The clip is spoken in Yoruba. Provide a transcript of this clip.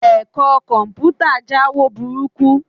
Ẹ̀kọ́ Kọ̀m̀pútà jáwo burúkú